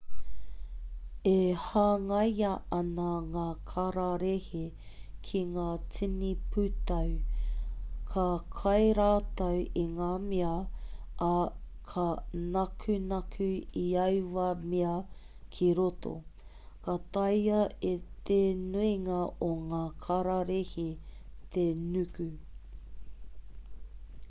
e hangaia ana ngā kararehe ki ngā tini pūtau ka kai rātou i ngā mea ā ka nakunaku i aua mea ki roto ka taea e te nuinga o ngā kararehe te nuku